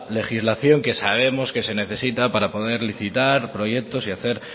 legislación que sabemos que se necesita para poder licitar proyectos y hacer